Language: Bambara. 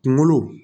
Kunkolo